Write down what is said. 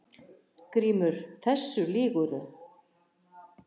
GRÍMUR: Þessu lýgurðu!